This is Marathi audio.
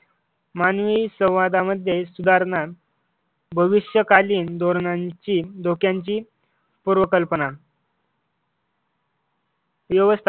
मानवी संवादामध्ये सुधारणा भविष्यकालीन धोरणांची धोक्यांची पूर्वकल्पना व्यवस्था